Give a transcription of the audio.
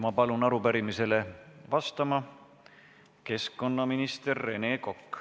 Ma palun teid arupärimisele vastama, keskkonnaminister Rene Kokk!